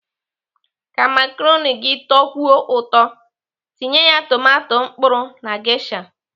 Ka makaroni gị tọkwuo ụtọ, tinye ya tomato mkpụrụ na gesha.